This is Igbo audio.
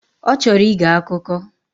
Ọchọrọ ige akụkọ.